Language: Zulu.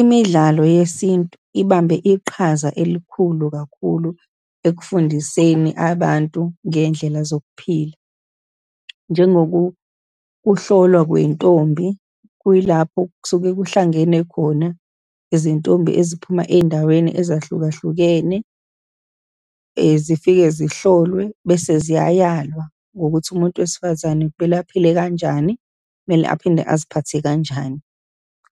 Imidlalo yesintu ibambe iqhaza elikhulu kakhulu ekufundiseni abantu ngey'ndlela zokuphila. Njengoku kuhlolwa kwey'ntombi, kuyilapho kusuke kuhlangene khona izintombi eziphuma ezindaweni ezahlukahlukene, zifike zihlolwe, bese ziyayalwa ngokuthi umuntu wesifazane kumele aphile kanjani, kumele aphinde aziphathe kanjani.